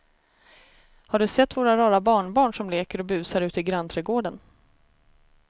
Har du sett våra rara barnbarn som leker och busar ute i grannträdgården!